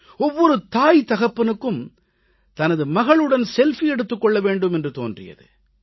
ஒவ்வொரு தாய் தகப்பனுக்கும் தனது மகளுடன் செல்ஃபி எடுத்துக் கொள்ள வேண்டும் என்று தோன்றியது